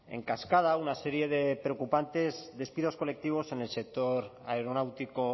en cascada una serie de preocupantes despidos colectivos en el sector aeronáutico